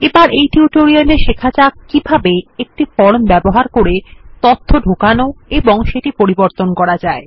এবার এই টিউটোরিয়ালে শেখা যাক কিভাবে একটি ফর্ম ব্যবহার করে তথ্য ঢোকানো এবং পরিবর্তন করা যায়